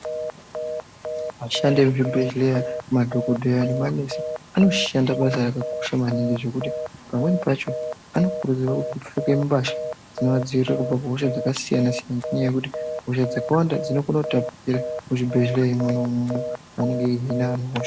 Vashandi vemuzvibhedhlera madhokoteya nemanesi anoshanda basa rakakosha maningi zvekuti pamweni pacho anokurudzirwa kupfeka mbatya dzinovadzivirira kubva kuhosha dzakasiyana-siyana ngenyaya yekuti hosha dzakawanda dzinokona kutambira muzvibhedhlera Mona imomo panenge pachihinwa hosha.